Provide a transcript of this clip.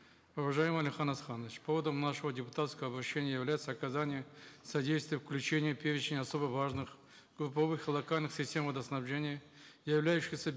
уважаемый алихан асханович поводом нашего депутатского обращения является оказание содействия включения в перечень особо важных групповых локальных систем водоснабжения являющихся